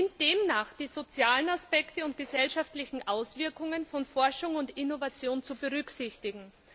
Es sind demnach die sozialen Aspekte und gesellschaftlichen Auswirkungen von Forschung und Innovation zu berücksichtigen.